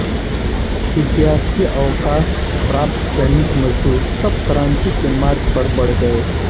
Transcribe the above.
विद्यार्थी अवकाश प्राप्त सैनिक मजदूर सब क्रांति के मार्ग पर बढ़ गये